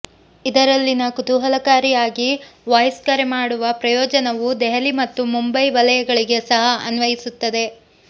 ಇದರಲ್ಲಿನ ಕುತೂಹಲಕಾರಿಯಾಗಿ ವಾಯ್ಸ್ ಕರೆ ಮಾಡುವ ಪ್ರಯೋಜನವು ದೆಹಲಿ ಮತ್ತು ಮುಂಬೈ ವಲಯಗಳಿಗೆ ಸಹ ಅನ್ವಯಿಸುತ್ತದೆ